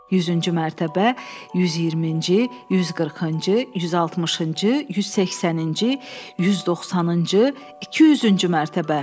100-cü mərtəbə, 120-ci, 140-cı, 160-cı, 180-ci, 190-cı, 200-cü mərtəbə.